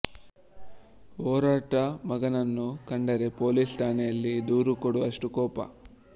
ಒರಟ ಮಗನನ್ನು ಕಂಡರೆ ಪೊಲೀಸ್ ಠಾಣೆಯಲ್ಲಿ ದೂರು ಕೊಡುವಷ್ಟು ಕೋಪ